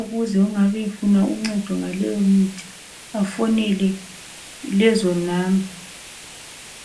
ukuze ongabe efuna uncedo ngaleyo mithi bafonele lezo namba